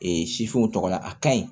sifinw tɔgɔ la a ka ɲi